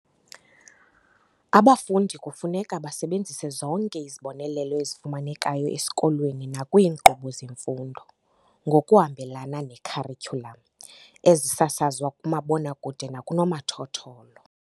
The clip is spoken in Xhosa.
Abafundi kufuneka base benzise zonke izibonelelo ezifumanekayo esikolweni nakwiinkqubo zemfundo, ngokuhambelana ne-kharityhulam, ezisasazwa kumabonakude nakunomathotholo.